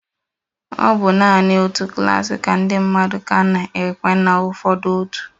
Ọ bụ naanị otu klas nke ndị mmadụ ka a na-ekwe na ụfọdụ otu.